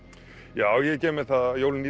já ég gef mér það að jólin